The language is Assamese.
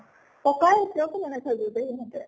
ককায়েক ইহ্তে